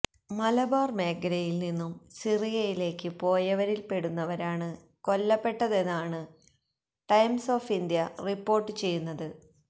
മലബാര് മേഖലയില് നിന്നും സിറിയയിലേക്ക് പോയവരില്പ്പെടുന്നവരാണ് കൊല്ലപ്പെട്ടതെന്നാണ് ടൈംസ് ഓഫ ഇന്ത്യ റിപ്പോര്ട്ട് ചെയ്യുന്നത്